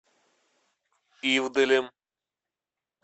ивделем